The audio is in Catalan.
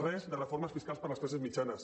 res de reformes fiscals per a les classes mitjanes